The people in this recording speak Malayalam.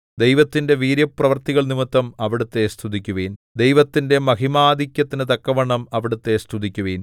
ദൈവത്തിന്റെ വീര്യപ്രവൃത്തികൾനിമിത്തം അവിടുത്തെ സ്തുതിക്കുവിൻ ദൈവത്തിന്റെ മഹിമാധിക്യത്തിനു തക്കവണ്ണം അവിടുത്തെ സ്തുതിക്കുവിൻ